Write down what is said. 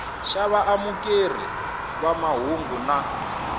xa vaamukeri va mahungu na